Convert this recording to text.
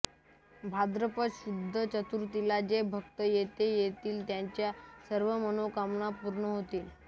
भाद्रपद शुद्ध चतुर्थीला जे भक्त येथे येतील त्यांच्या सर्व मनःकामना पूर्ण होतील